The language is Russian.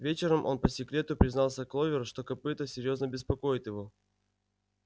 вечером он по секрету признался кловер что копыто серьёзно беспокоит его